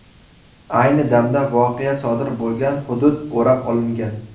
Ayni damda voqea sodir bo‘lgan hudud o‘rab olingan.